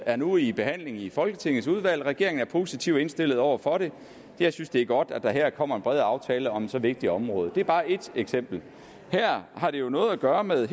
er nu i behandling i folketingets udvalg og regeringen er positivt indstillet over for det jeg synes det er godt at der her kommer en bred aftale om så vigtigt et område det er bare ét eksempel her har det jo noget at gøre med